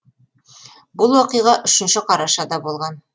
бұл оқиға үшінші қарашада болған